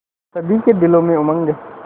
सभी के दिलों में उमंग